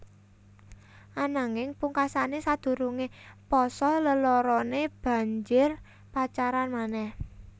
Ananging pungkasané sadurungé pasa leloroné banjur pacaran manéh